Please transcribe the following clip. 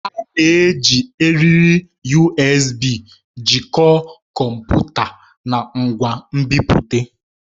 A na-eji eriri USB jikọọ kọmputa na ngwa nbipute.